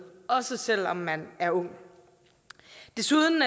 også selv om man er ung desuden